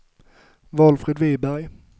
Valfrid Viberg